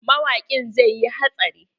Mawaƙin zai yi hatsari.